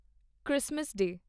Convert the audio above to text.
Christmas ਡੇ